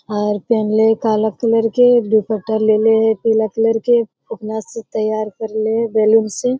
और पेन्हले है काला कलर के दुपट्टा लेले है पीला कलर के फुकना से तैयार करले है बैलून से।